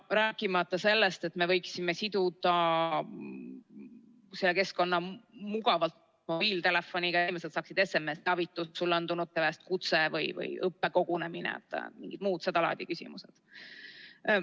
Rääkimata sellest, et me võiksime siduda selle keskkonna mugavalt mobiiltelefoniga ja inimesed saaksid SMS‑teavituse: sulle on tulnud kutse või toimub õppekogunemine või on mingid muud seda laadi küsimused.